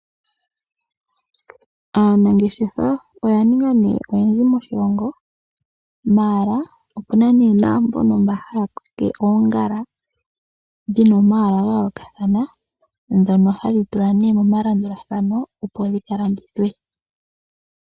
Aanangeshefa oya ninga nee oyendji moshilongo maala opuna nee naambono mba haya tete oongala, dhina omaala ga yoolokathana dhono hadhi tulwa nee momalandulathano opo dhika landithwe.